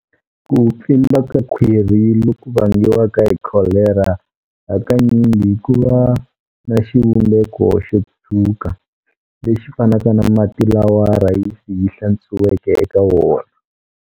Ku pfimba ka khwiri loku vangiwaka hi kholera hakanyingi kuva na xivumbeko xo tshuka, lexi fanaka na mati lawa rhayisi yi hlantswiweke eka wona.